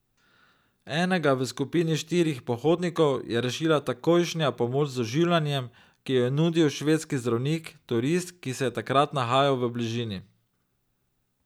Enega v skupini štirih pohodnikov je rešila takojšnja pomoč z oživljanjem, ki jo je nudil švedski zdravnik, turist, ki se je takrat nahajal v bližini.